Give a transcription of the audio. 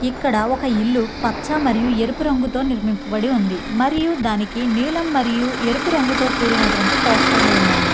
ఇక్కడ ఒక ఇల్లు పచ్చ మరియు ఎరుపు రంగుతో నిర్మింపబడి ఉంది. మరియు దానికి నీలం మరియు ఎరుపు రంగుతో కూడినటువంటి పోస్టర్లు ఉన్నాయి.